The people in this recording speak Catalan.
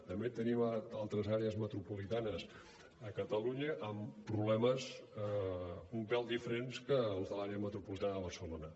també tenim altres àrees metropolitanes a catalunya amb problemes un pèl diferents dels de l’àrea metropolitana de barcelona